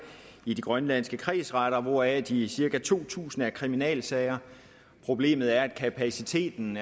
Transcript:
i de grønlandske kredsretter hvoraf de cirka to tusind er kriminalsager problemet er at kapaciteten